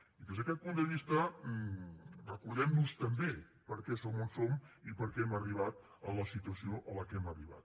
i des d’aquest punt de vista recordem nos també de per què som on som i de per què hem arribat a la situació a què hem arribat